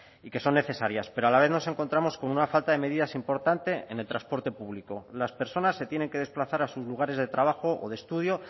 y que son necesarias pero a la vez nos encontramos con una falta de medidas importante en el transporte público las personas se tienen que desplazar a sus lugares de trabajo o de estudio